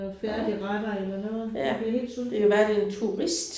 Jo ja. Det kan være det en turist